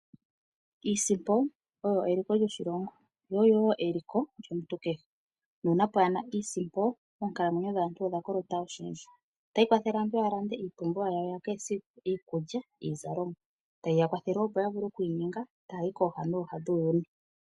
Iisimpo oyo eliko lyoshilongo yo oyowo eliko lyomuntu kehe nuuna pwaana iisimpo oonkalamwenyo dhaantu odha kolota oshindji ota yi kwathele aantu ya lande iipumbiwa yawo ya kehesiku ngaashi iikulya niizalomwa ta ye yi kwathele opo ya vule okwiinyenga taya yi kooha nooha dhuuyuni.